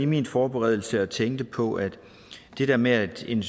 min forberedelse og tænkte på at det her med at en